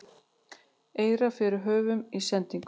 eirar fyrir höfum í sendingunni